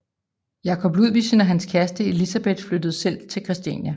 Jacob Ludvigsen og hans kæreste Elizabeth flyttede selv til Christiania